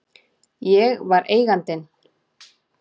Ég var Eigandinn.